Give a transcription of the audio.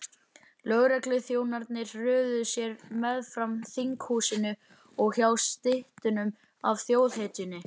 Lögregluþjónarnir röðuðu sér meðfram þinghúsinu og hjá styttunni af þjóðhetjunni.